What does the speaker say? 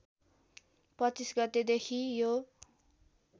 २५ गतेदेखि यो